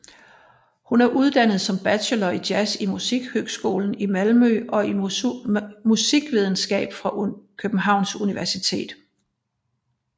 Hun er uddannet som bachelor i jazz fra Musikhögskolan i Malmö og i musikvidenskab fra Københavns Universitet